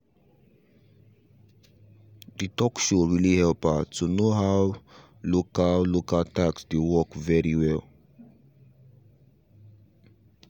the talk show really help her to know how local local tax dey work very well